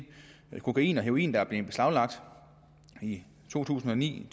kokain og heroin der er blevet beslaglagt i to tusind og ni